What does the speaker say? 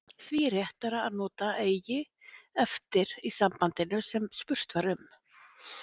því er réttara að nota eiga eftir í sambandinu sem spurt var um